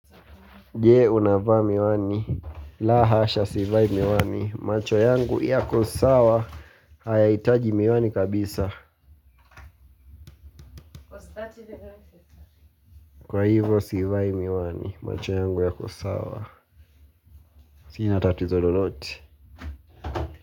Je unavaa miwani. La hasha sivai miwani. Macho yangu yako sawa. Hayahitaji miwani kabisa. Kwa hivyo sivai miwani. Macho yangu yako sawa. Sina tatizo lolote.